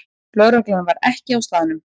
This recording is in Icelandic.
Lögreglan var ekki á staðnum